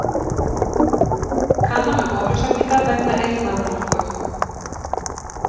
Kanna með bólusetningar vegna eyrnabólgu